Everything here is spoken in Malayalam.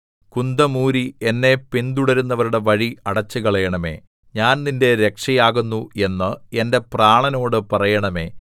കുന്തം ഊരി എന്നെ പിന്തുടരുന്നവരുടെ വഴി അടച്ചുകളയണമേ ഞാൻ നിന്റെ രക്ഷയാകുന്നു എന്ന് എന്റെ പ്രാണനോട് പറയണമേ